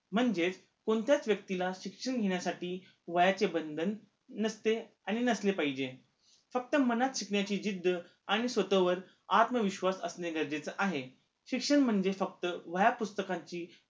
म्हणजेच कोणत्याच व्यक्तीला शिक्षण घेण्यासाठी वयाचे बंधन नसते आणि नसले पाहिजे फक्त मनात शिकण्याची जिद्ध आणि स्वतःवर आत्मविश्वास असणे गरजेचे आहे शिक्षण म्हणजे फक्त वह्या, पुस्तकांची